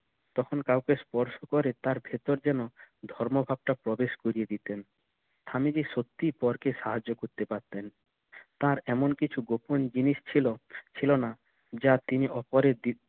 তখন কাউকে স্পর্শ করে তার ভিতর যেনো ধর্মপাপ টা প্রবেশ করিয়ে দিতেন স্বামীজি সত্যি পর কে সাহায্য করতে পারতেন তার এমন কিছু গোপন জিনিস ছিল ছিল না যা তিনি অপরের